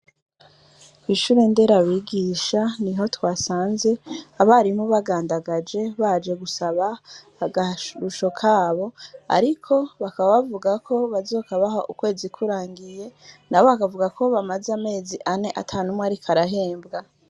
Kw’ishure nderabigisha, niho twasanze abarimu bagandagaje, baje gusaba akarusho kabo ariko bakaba bavuga ko bazokabaha ukwezi kurangiye, nabo bakavuga ko bamaze amezi ane ata n'umwe ariko arahembwa.